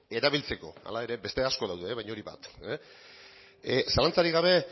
erabiltzeko hala ere beste asko daude baina hori bat zalantzarik gabe